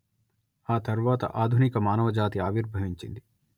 ఆ తర్వాత ఆధునిక మానవ జాతి ఆవిర్భవించింది